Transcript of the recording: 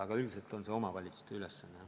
Aga üldiselt on see omavalitsuste ülesanne.